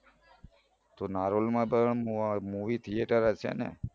તો નારોલમાં પણ movie theatre હશે ને